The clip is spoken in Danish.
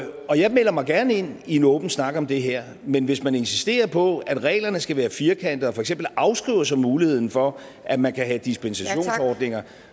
og jeg melder mig gerne ind i en åben snak om det her men hvis man insisterer på at reglerne skal være firkantede og for eksempel afskriver sig muligheden for at man kan have dispensationsordninger